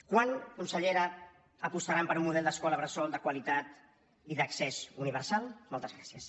quan consellera apostaran per un model d’escola bressol de qualitat i d’accés universal moltes gràcies